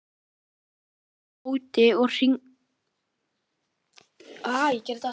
hrópar hún á móti og hrindir honum frá sér.